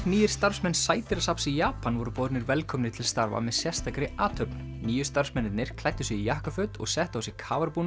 nýir starfsmenn sædýrasafns í Japan voru voru boðnir velkomnir til starfa með sérstakri athöfn nýju starfsmennirnir klæddu sig í jakkaföt og settu á sig